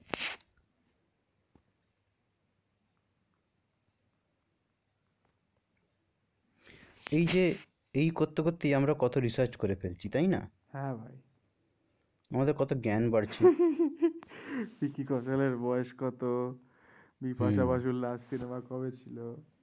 এই যে এই করতে করতেই আমরা কত research করে ফেলছি তাই না? হ্যাঁ ভাই আমাদের কত জ্ঞান বাড়ছে ভিকি কৌশল এর বয়স কত বিপাশা বসুর last cinema কবে ছিল?